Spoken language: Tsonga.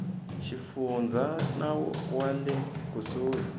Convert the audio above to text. xifundza na wa le kusuhi